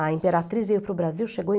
A Imperatriz veio para o Brasil, chegou